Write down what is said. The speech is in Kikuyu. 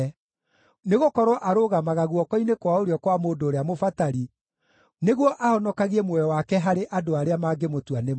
Nĩgũkorwo arũgamaga guoko-inĩ kwa ũrĩo kwa mũndũ ũrĩa mũbatari, nĩguo ahonokagie muoyo wake harĩ andũ arĩa mangĩmũtua nĩ mwĩhia.